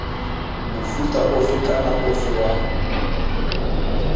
mofuta ofe kana ofe wa